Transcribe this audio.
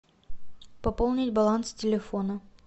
пополнить баланс телефона